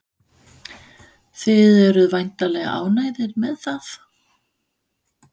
Þið eruð væntanlega ánægðir með það?